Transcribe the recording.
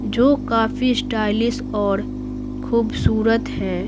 जो काफी स्टाइलिश और खूबसूरत हैं।